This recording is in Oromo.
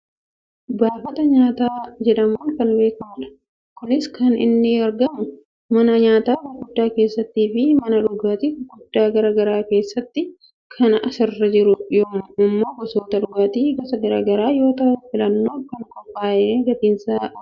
baafata nyaataa jedhamuun kan beekkamudha. kunis kan inni argamu mana nyaataa gurguddaa keessaafi mana dhugaatii gurguddaa gara garaa keessattidha. kan asirra jiru ammoo gosoota dhugaati gosa gara garaa yoo ta'u filannoof kan qophaa'edha gatiisaaa waliin.